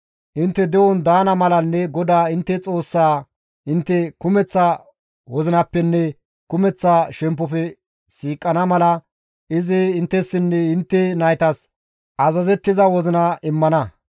Intte de7on daana malanne GODAA intte Xoossaa intte kumeththa wozinappenne kumeththa shemppofe siiqana mala izi inttessinne intte naytas azazettiza wozina immana.